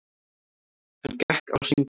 Hann gekk á sönginn.